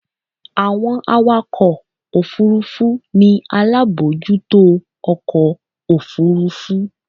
Àwọn awakọ̀ ọkọ̀ Òfurufú ni alábòójútó ọkọ̀ Òfurufú.